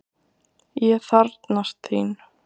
Ég þarfnast þín!